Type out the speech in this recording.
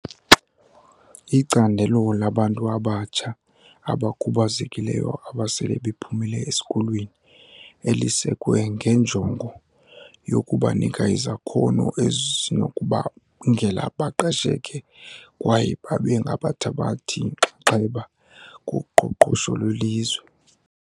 Icandelo labantu abatsha abakhubazekileyo abasele bephumile esikolweni, elisekwe ngenjongo yokubanika izakhono ezinokubabangela baqesheke kwaye babengabathabathi-nxaxheba kuqoqosho lwelizwe.